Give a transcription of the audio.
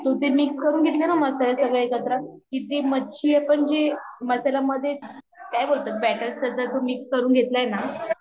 सूके mix करून घेतले ना मसाले सगळे एकत्र की ती मच्छी आपण जी मसल्या मधे काय बोलतात बैटर च तू जे मिक्स करून घेतले ना तो पापलेट